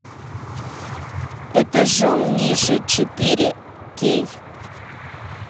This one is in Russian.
этажом ниже четыре кей